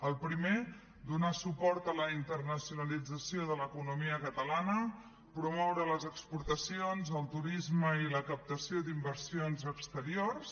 el primer donar suport a la internacionalització de l’economia catalana promoure les exportacions el turisme i la captació d’inversions exteriors